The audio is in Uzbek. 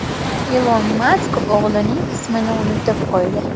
Ilon Mask o‘g‘lining ismini unutib qo‘ydi .